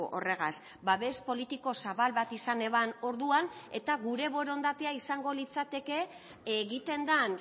horregaz babes politiko zabal bat izan eban orduan eta gure borondatea izango litzateke egiten den